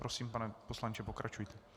Prosím, pane poslanče, pokračujte.